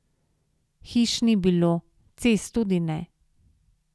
Hiš ni bilo, cest tudi ne.